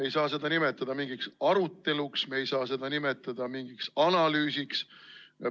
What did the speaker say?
Ei saa seda nimetada mingiks aruteluks, me ei saa seda nimetada mingiks analüüsiks.